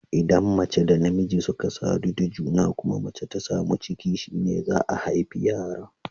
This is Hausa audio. Idan mace da namiji suka sadu da juna, kuma macan ta samu ciki, shine za'a haifi yara.